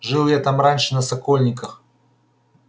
жил я там раньше на сокольниках